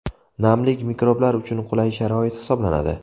Namlik mikroblar uchun qulay sharoit hisoblanadi.